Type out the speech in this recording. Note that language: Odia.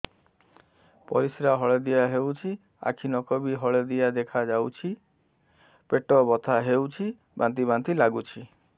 ପରିସ୍ରା ହଳଦିଆ ହେଉଛି ଆଖି ନଖ ବି ହଳଦିଆ ଦେଖାଯାଉଛି ପେଟ ବଥା ହେଉଛି ବାନ୍ତି ବାନ୍ତି ଲାଗୁଛି